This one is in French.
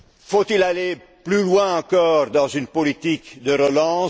des Douze. Faut il aller plus loin encore dans une politique